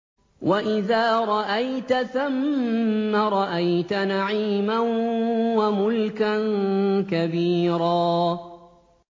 وَإِذَا رَأَيْتَ ثَمَّ رَأَيْتَ نَعِيمًا وَمُلْكًا كَبِيرًا